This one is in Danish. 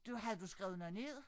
Du havde du skrevet noget ned?